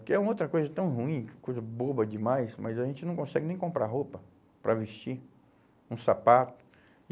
Porque é outra coisa tão ruim, coisa boba demais, mas a gente não consegue nem comprar roupa para vestir, um sapato. E